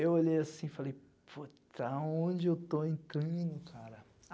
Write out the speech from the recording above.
Eu olhei assim e falei, pô, para onde eu estou entrando, cara?